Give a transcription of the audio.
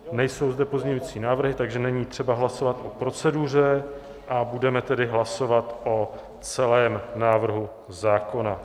Nejsou zde pozměňující návrhy, takže není třeba hlasovat o proceduře, a budeme tedy hlasovat o celém návrhu zákona.